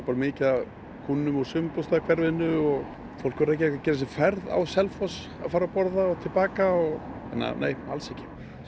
mikið af kúnnum úr sumarbústaðahverfinu og fólk úr Reykjavík að gera sér ferð á Selfoss að fara að borða og til baka þannig nei alls ekki